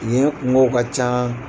Yen kunkow ka can.